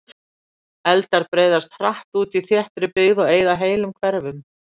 Eldar breiðast hratt út í þéttri byggð og eyða heilum hverfum.